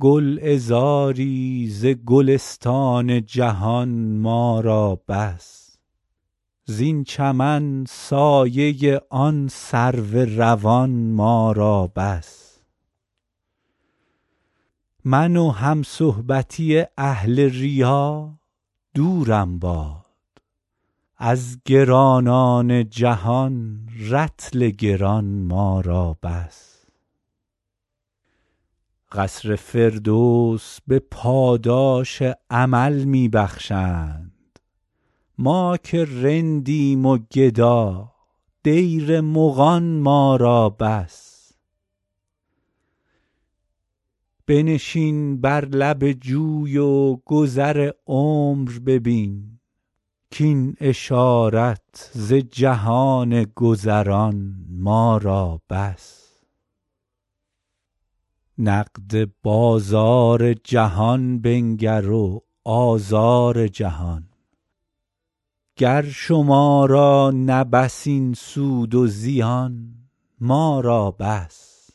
گلعذاری ز گلستان جهان ما را بس زین چمن سایه آن سرو روان ما را بس من و همصحبتی اهل ریا دورم باد از گرانان جهان رطل گران ما را بس قصر فردوس به پاداش عمل می بخشند ما که رندیم و گدا دیر مغان ما را بس بنشین بر لب جوی و گذر عمر ببین کاین اشارت ز جهان گذران ما را بس نقد بازار جهان بنگر و آزار جهان گر شما را نه بس این سود و زیان ما را بس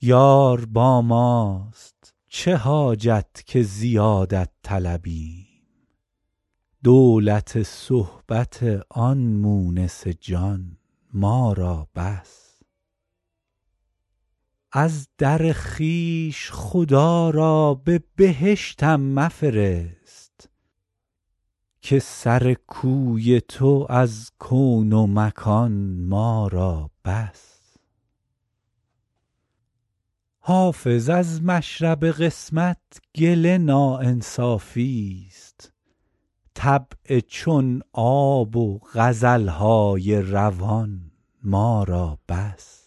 یار با ماست چه حاجت که زیادت طلبیم دولت صحبت آن مونس جان ما را بس از در خویش خدا را به بهشتم مفرست که سر کوی تو از کون و مکان ما را بس حافظ از مشرب قسمت گله ناانصافیست طبع چون آب و غزل های روان ما را بس